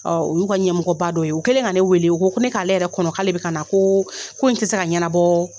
U y'u ka ɲɛmɔgɔba dɔ ye. U kɛlen ka ne wele, o ko ko ne k'ale yɛrɛ kɔnɔ, k'ale bɛ ka na, ko ko in tɛ se ka ɲɛnabɔ